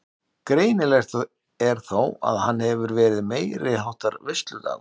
Greinilegt er þó að hann hefur verið meiriháttar veisludagur.